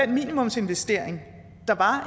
minimumsinvestering der var